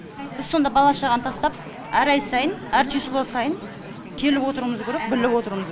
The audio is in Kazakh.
біз сонда бала шағаны тастап әр ай сайын әр число сайын келіп отыруымыз керек біліп отыруымыз